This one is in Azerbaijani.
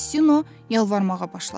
Mastino yalvarmağa başladı.